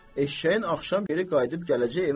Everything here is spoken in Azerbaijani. Eşşəyin axşam geri qayıdıb gələcək evə də?